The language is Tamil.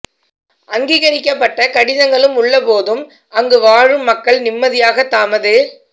அங்கீகரிக்கப்பட்ட கடிதங்களும் உள்ள போதும் அங்கு வாழும் மக்கள் நிம்மதியாக தமது